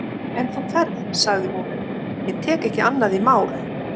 En þú ferð, sagði hún, ég tek ekki annað í mál.